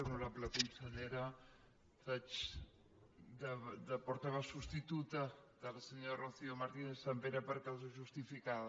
honorable consellera faig de portaveu substituta de la senyora rocío martínez·sampere per causa justificada